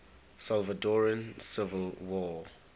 salvadoran civil war